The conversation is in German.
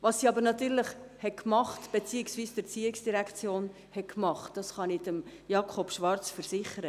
Was diese beziehungsweise die ERZ gemacht hat, kann ich Jakob Schwarz versichern: